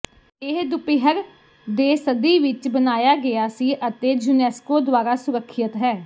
ਇਹ ਦੁਪਿਹਰ ਦੇ ਸਦੀ ਵਿੱਚ ਬਣਾਇਆ ਗਿਆ ਸੀ ਅਤੇ ਯੂਨੈਸਕੋ ਦੁਆਰਾ ਸੁਰੱਖਿਅਤ ਹੈ